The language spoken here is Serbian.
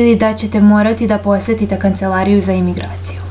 ili da ćete morati da posetite kancelariju za imigraciju